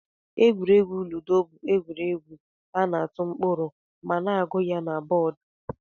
Egwuregwu lụdo bu egwuregwu ana atụ mkpụrụ ma na agu ya na bọd.